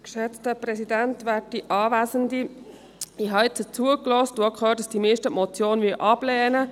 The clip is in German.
Ich habe jetzt zugehört und auch gehört, dass die meisten die Motion ablehnen.